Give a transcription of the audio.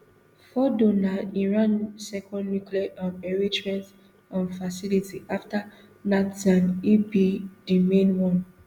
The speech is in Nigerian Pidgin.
fordo na iran second nuclear um enrichment um facility afta natanz e be di main one